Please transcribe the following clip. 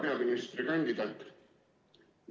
Hea peaministrikandidaat!